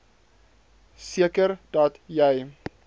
seker dat jy